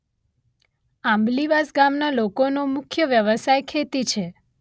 આંબલીવાસ ગામના લોકોનો મુખ્ય વ્યવસાય ખેતી છે.